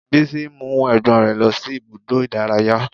Bísí mú ẹ̀gbọ́n rẹ̀ lọ sí ibùdó ìdárayá